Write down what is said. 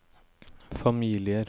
familier